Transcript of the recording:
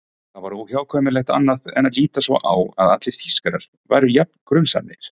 Það var óhjákvæmilegt annað en að líta svo á að allir Þýskarar væru jafn grunsamlegir.